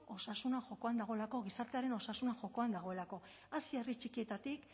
osasuna jokoan dagoelako gizartearen osasuna jokoan dagoelako hasi herri txikietatik